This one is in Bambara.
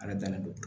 Ala dannen don